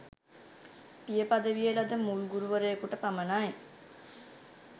පිය පදවිය ලද මුල් ගුරුවරයෙකුට පමණයි